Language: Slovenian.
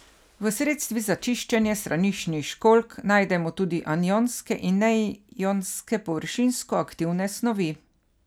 V sredstvih za čiščenje straniščnih školjk najdemo tudi anionske in neionske površinsko aktivne snovi.